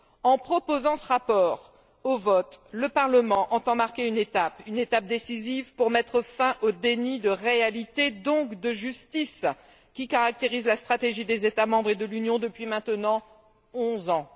En proposant ce rapport au vote, le Parlement entend marquer une étape décisive pour mettre fin au déni de réalité, donc de justice, qui caractérise la stratégie des États membres et de l'Union depuis maintenant onze ans.